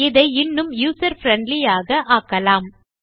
இதை இன்னும் user friendly யாக ஆக்கலாம்